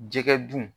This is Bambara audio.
Jɛgɛ dun